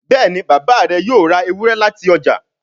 Béèni Bàbá rẹ yóò rá Ewúrẹ́ láti ọjà.